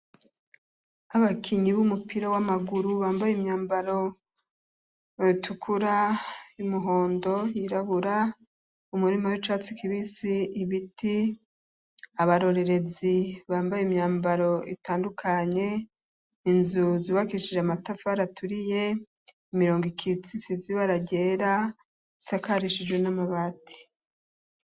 Abakinyi b'umupira w'amaguru bambaye imyambaro itukura imuhondo yirabura umurima w'icatsi kibisi ibiti abarorerezi bambaye imyambaro itandukanye inzu zibakishije amatafa raturiye umirongo i kitsi si zibaragyera sakarishijwe n'amabati.